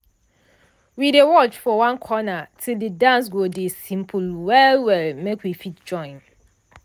we dey watch for one corner till de dance go dey simple well well make we fit join.